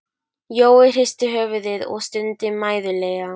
Jói hristi höfuðið og stundi mæðulega.